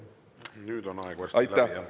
Nüüd on aeg varsti läbi, jah.